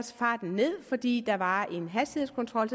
farten ned fordi der var en hastighedskontrol